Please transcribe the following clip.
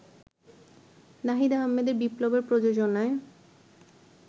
নাহিদ আহমেদ বিপ্লবের প্রযোজনায়